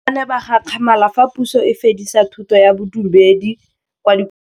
Bagolo ba ne ba gakgamala fa Pusô e fedisa thutô ya Bodumedi kwa dikolong.